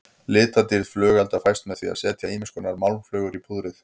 Litadýrð flugelda fæst með því að setja ýmiskonar málmflögur í púðrið.